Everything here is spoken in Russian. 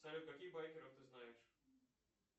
салют каких байкеров ты знаешь